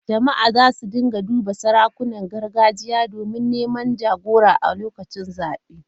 Jama’a za su rika duban sarakunan gargajiya domin neman jagora a lokacin zabe.